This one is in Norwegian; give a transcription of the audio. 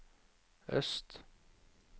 øst